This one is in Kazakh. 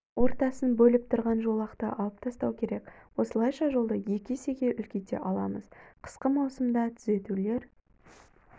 ортасын бөліп тұрған жолақты алып тастау керек осылайша жолды екі есеге үлкейте аламыз қысқы маусымда түзетулер